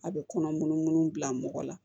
A bɛ kɔnɔ munun munnu bila mɔgɔ la